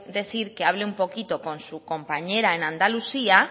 decir que hable un poquito con su compañera en andalucía